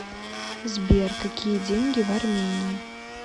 сбер какие деньги в армении